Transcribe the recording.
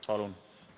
Palun!